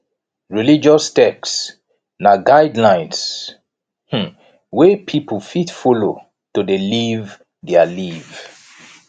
religious text na guidelines um wey pipo fit follow to de live their live